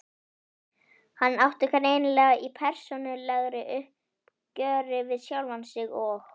Hann átti greinilega í persónulegu uppgjöri við sjálfan sig og